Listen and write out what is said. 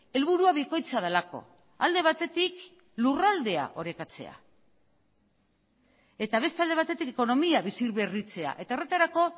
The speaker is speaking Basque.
helburua bikoitza delako alde batetik lurraldea orekatzea eta beste alde batetik ekonomia biziberritzea eta horretarako